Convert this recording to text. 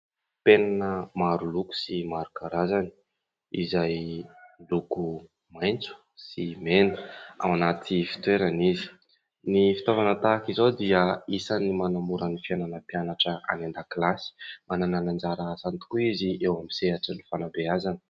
Penina maroloko sy maro karazany izay miloko maitso sy mena ao anaty fitoerana izy. Ny fitaovana tahaka izao dia isany manamora ny fiainana mpianatra any an-dakilasy. Manana anjara asany tokoa izy eo amin'ny sehatra ny fanabeazana.